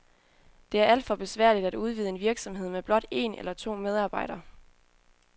Det er alt for besværligt at udvide en virksomhed med blot en eller to medarbejdere.